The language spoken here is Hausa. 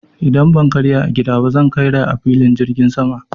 Idan ban karya a gida ba zan karya a filin jirgin sama.